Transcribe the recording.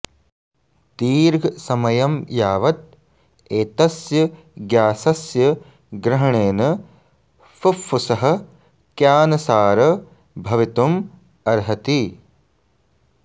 दीर्घसमयं यावत् एतस्य ग्यासस्य ग्रहणेन फुफ्फुसः क्यानसार भवितुम् अर्हति